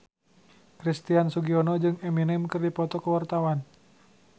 Christian Sugiono jeung Eminem keur dipoto ku wartawan